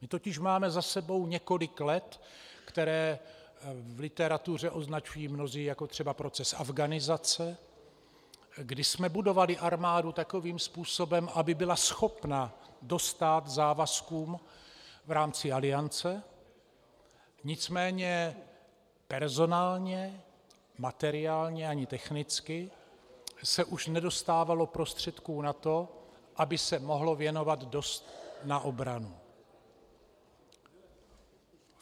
My totiž máme za sebou několik let, které v literatuře označují mnozí jako třeba "proces afghanizace", kdy jsme budovali armádu takovým způsobem, aby byla schopna dostát závazkům v rámci Aliance, nicméně personálně, materiálně ani technicky se už nedostávalo prostředků na to, aby se mohlo věnovat dost na obranu.